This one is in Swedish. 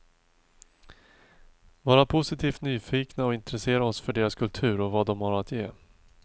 Vara positivt nyfikna och intressera oss för deras kultur och vad de har att ge.